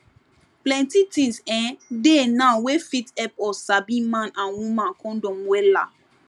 plenty things[um]dey now wey fit help us sabi man and woman condom wella